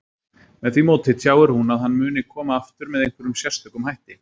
Með því móti tjáir hún að hann muni koma aftur með einhverjum sérstökum hætti.